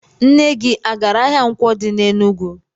Nne gi agara ahia Nkwo di n'Enugwu?